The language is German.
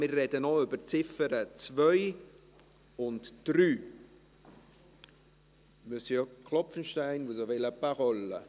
Wir sprechen noch über die Ziffern 2 und 3. Monsieur Klopfenstein, vous avez la parole.